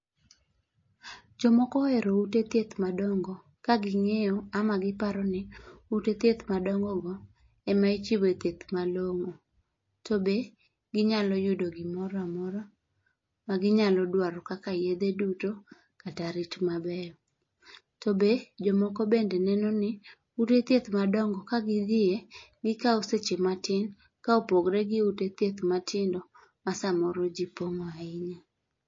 Jo moko ohero ute thieth madongo ka gi ngeyo ama gi paro ni ute thieth madongo go ema ichiwe thieth malong'o to be gi nya yudo gi moro amora ma gi nya dwaro kaka yedhe duto kata rit maber. To be jo moko be neno ni ute thieth madongo gi ka gi dhie gi kao seche matin ka opogore gi ute thieth matindo ma sa moro ji pong' ahinya.